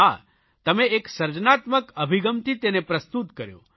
હા તમે એક સર્જનાત્મક અભિગમથી તેને પ્રસ્તુત કર્યો